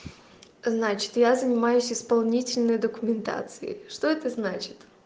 значит я занимаюсь исполнительной документацией что это значит